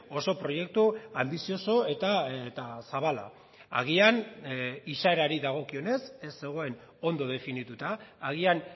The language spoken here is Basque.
oso proiektu anbizioso eta zabala agian izaerari dagokionez ez zegoen ondo definituta agian